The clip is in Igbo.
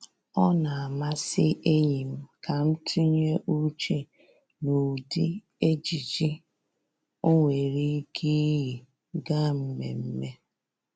Ọ na-amasị enyi m ka m tụnye uche n'ụdị ejiji o nwere ike iyi gaa mmemme